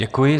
Děkuji.